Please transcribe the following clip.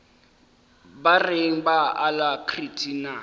ba reng ba alacrity na